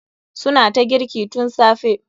Su na ta girki tun safe.